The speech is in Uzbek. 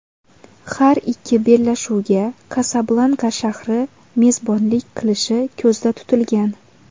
Har ikki bellashuvga Kasablanka shahri mezbonlik qilishi ko‘zda tutilgan.